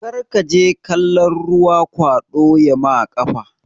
Karkaje kalon ruwa kwaɗo yama ƙafa